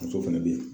Muso fana bɛ yen